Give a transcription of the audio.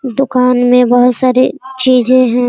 दुकान में बहुत सारी चीजें हैं ।